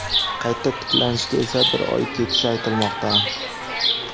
Qayta tiklanishga esa bir oy ketishi aytilmoqda.